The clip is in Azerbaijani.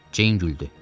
Ceyin güldü.